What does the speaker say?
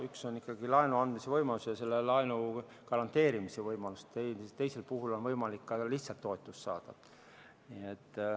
Üks on ikkagi laenu andmise võimalus ja selle laenu garanteerimise võimalus, teisel puhul on võimalik ka lihtsalt toetust saada.